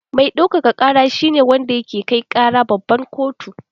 Mai ɗaukaka ƙara shi ne wanda ke kai ƙara babban kotu.